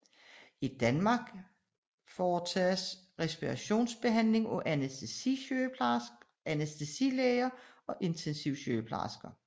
I Danmark varetages respiratorbehandling af anæstesilæger og intensivsygeplejersker